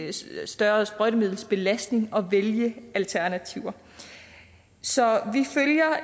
større sprøjtemiddelsbelastning at vælge alternativer så